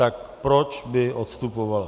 Tak proč by odstupovala?